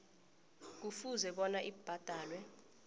kufuze bona ibhadalwe